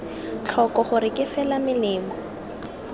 tlhoko gore ke fela melemo